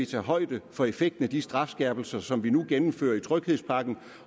tage højde for effekten af de strafskærpelser som vi nu gennemfører i tryghedspakken